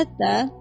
Belədir də.